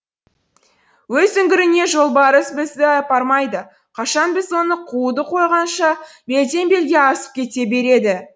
өз үңгіріне жолбарыс бізді апармайды қашан біз оны қууды қойғанша белден белге асып кете береді